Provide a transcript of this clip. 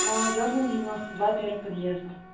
молодёжная девяноста два первый подъезд